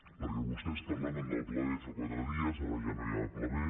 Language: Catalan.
perquè vostès parlaven del pla b fa quatre dies ara ja no hi ha pla b